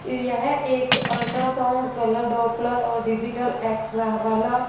यह एक ultrasound colour Doppler और डिजिटल एक्सरे वाला--